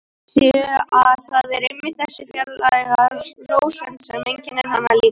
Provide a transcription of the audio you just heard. Sé að það er einmitt þessi fjarlæga rósemd sem einkennir hana líka.